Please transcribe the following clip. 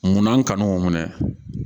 Munna an kanu minɛ